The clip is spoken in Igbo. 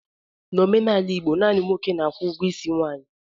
N'omenala Igbo, naanị nwoke na-akwụ ụgwọ isi nwaanyị.